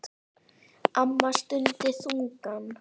Amma stundi þungan.